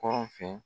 Kɔrɔ fɛ